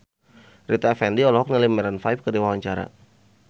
Rita Effendy olohok ningali Maroon 5 keur diwawancara